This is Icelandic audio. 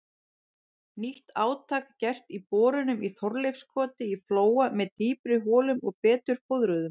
Nýtt átak gert í borunum í Þorleifskoti í Flóa með dýpri holum og betur fóðruðum.